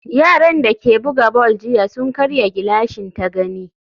yaran dake buga ball jiya sun karya gilashin tagani